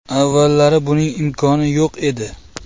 Avvallari buning imkoni yo‘q edi.